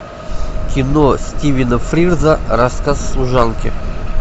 кино стивена фрирза рассказ служанки